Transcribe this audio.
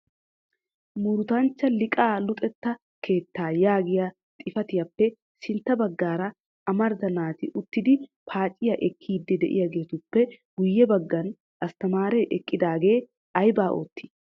Murutanchcha Liiqaa luxetta keettaa yaagiyaa xifaatiyappe sintta baggaara amarida naati uttidi paaciyaa ekkidi de'iyaagetuppe guyye baggan asttamaare eqqiidaage aybba oottii?